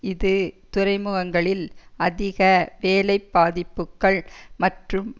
இது துறைமுகங்களில் அதிக வேலை பாதிப்புக்கள் மற்றும்